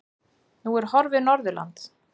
Nú er horfið Norðurland.